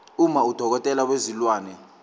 uma udokotela wezilwane